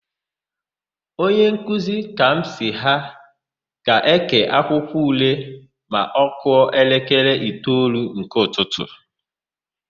Onyenkuzi Kamsi ha ga-ékè akwụkwọule ma ọ kụọ elekere itoolu nke ụtụtụ.